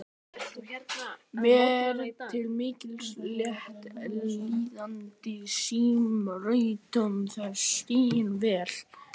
Mér til mikils léttis líkaði símritaranum þessi skýring vel.